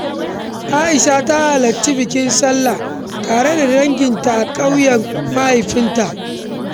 Aisha ta halarci bikin Sallah tare da danginta a ƙauyen mahaifinta.